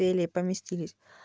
еле поместились